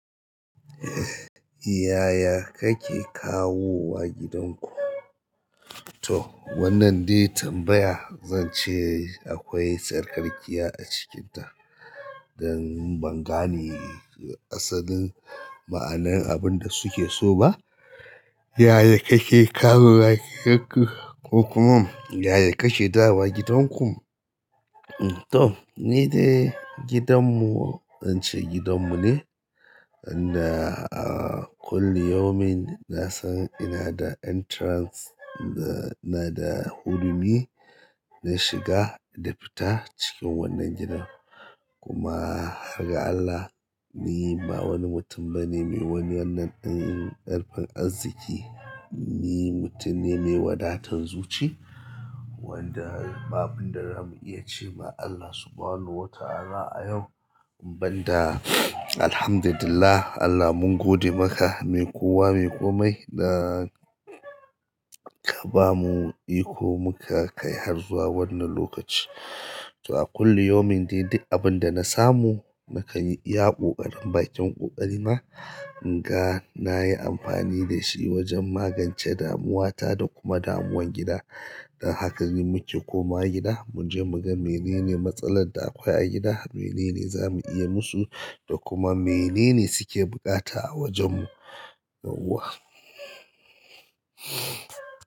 Yaya ka ke kawo wa gidan ku to wannan dai tambaya zance akwai tsarkakiya a cikinta don ban gane asalin ma'anar abun da suke so ba. Yaya kake kawowa gidanku? Ko kuma yaya kake dawowa gidanku? To ni dai gidanmu zance gidanmu ne inda a kulli yaumin nasan ina da entrance ina da hudumi na shiga da fita cikin wannan gidan kuma har ga Allah ni ba wani mutum bane mai wani wannan ɗin ƙarfin arziki ni mutum ne mai wadatan zuci wanda babu abunda zamu iya ce ma Allah subhanahu wa ta'ala a yau banda Alhamdulillah Allah mun gode maka mai kowa mai komai da ka bamu iko muka kai har zuwa wannan lokaci. To a kulli yaumin dai dai abunda nasamu nakan yi iya ƙo ƙarin bakin ƙoƙari na in ga nayi amfani da shi wajan magance damuwata da kuma damuwan gida. Dan haka ne muke komawa gida muje muga menene matsalar da akwai a gida menene zamu iya musu da kuma menene suke buƙata a wajan mu yawa.